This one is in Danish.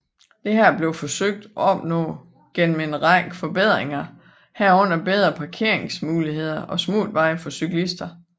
Dette blev forsøgt opnået gennem en række forbedringer herunder bedre parkeringsmuligheder og smutveje for cyklister